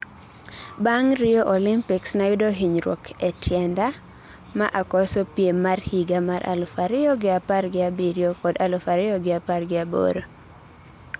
Bang Rio Olympics nayudo hinyruok ee tienda ma akoso piem mar higa mar aluf ariyo gi apar gi abiriyo kod aluf ariyo gi apar gi aboro.